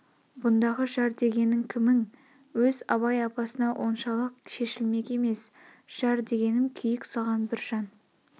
бұндағы жар дегенң кімің өз абай апасына оншалық шешілмек емес жар дегенім күйік салған бір жан